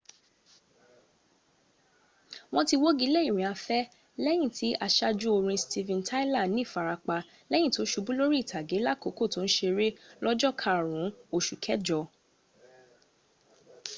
wọ́n ti wọ́gilé ìrìnafẹ́ lẹ́yìn tí asájú orin steven tyler nífarapa lẹ́yin tó subú lórí ìtàgé lákòókò tó ń seré lọ́jọ́ karùn ún osù kẹjọ